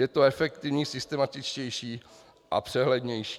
Je to efektivní, systematičtější a přehlednější.